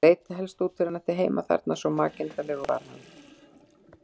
Það leit helst út fyrir að hann ætti heima þarna, svo makinda legur var hann.